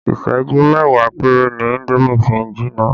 Isẹju mẹ́wàá péré ni indomi fi ń jinná